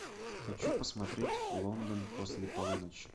хочу посмотреть лондон после полуночи